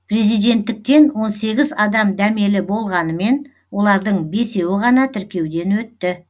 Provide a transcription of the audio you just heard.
президенттіктен он сегіз адам дәмелі болғанымен олардың бесеуі ғана тіркеуден өтті